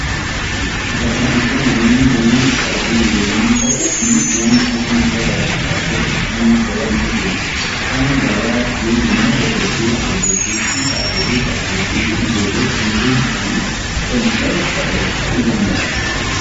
Gabaan iddoo namoonni danuun itti argaman yommuu ta'u, kunis waan jireenyaaf babaachisu argachuf namni gabaa ni deema. Kan gabaa deemu immoo dargaggeessa, dargaggeettii, haadholii, abbootii fi ijoollota umuriin isaanii kudhanii ol ta'e ta'uu danada'a.